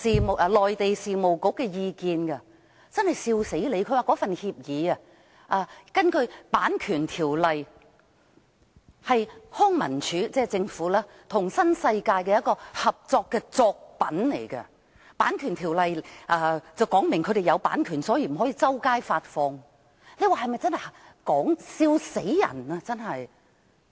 它說根據《版權條例》，該份協議是政府的康文署與新世界發展的一個合作的作品，《版權條例》規定是有版權的，所以不可以到處發放，大家說這是否笑死人呢？